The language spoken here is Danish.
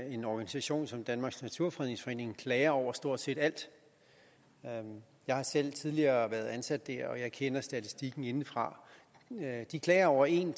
en organisation som danmarks naturfredningsforening klager over stort set alt jeg har selv tidligere været ansat der og jeg kender statistikken indefra de klager over en